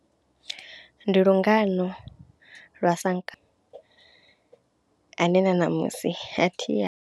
Ndi lungano lwa Sankambe ane na ṋamusi a thi ya.